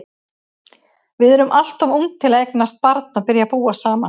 Við erum alltof ung til að eignast barn og byrja að búa saman.